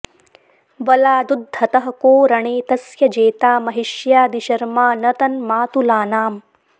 वलादुद्धतः को रणे तस्य जेता महिष्यादिशर्मा न तन् मातुलानाम्